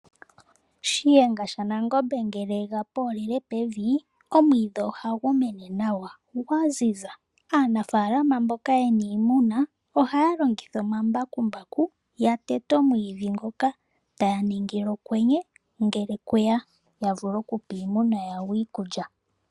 Shiyenga shaNangombe ngele ega poolele pevi omwiidhi ohagu mene nawa gwaziza. Aanafalama mboka yena iimuna ohaya longitha omambakumbaku yatete omwiidhi ngoka taya ningile okwenye ngele kweya yavule okupa iimuna yawo okulya.